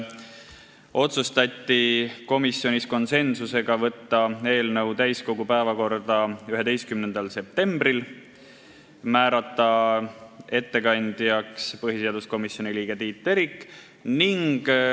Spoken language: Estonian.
Komisjonis otsustati konsensusega, et saadetakse eelnõu täiskogu päevakorda 11. septembriks ja määratakse ettekandjaks põhiseaduskomisjoni liige Tiit Terik.